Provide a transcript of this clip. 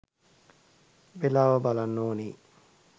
වේලාව බලන්න ඕනේ